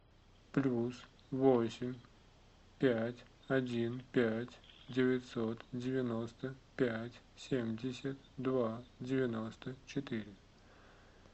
плюс восемь пять один пять девятьсот девяносто пять семьдесят два девяносто четыре